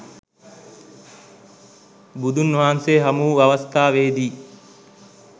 බුදුන් වහන්සේ හමු වූ අවස්ථාවේ දී